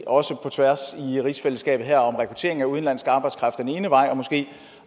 også på tværs i rigsfællesskabet om rekruttering af udenlandsk arbejdskraft den ene vej og måske